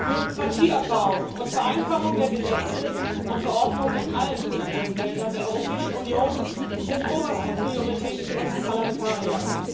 Bürokratieabbau und Vereinfachung der Gesetze und Verordnungen in allen Politikfeldern der Europäischen Union sind oberste Priorität für uns Parlamentarier.